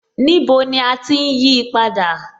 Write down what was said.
Níbo ni à ti ń yí á padà?